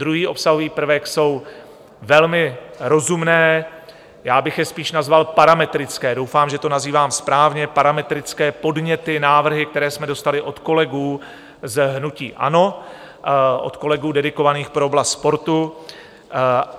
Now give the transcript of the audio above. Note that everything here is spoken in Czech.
Druhý obsahový prvek jsou velmi rozumné, já bych je spíš nazval parametrické - doufám, že to nazývám správně - parametrické podněty, návrhy, které jsme dostali od kolegů z hnutí ANO, od kolegů dedikovaných pro oblast sportu.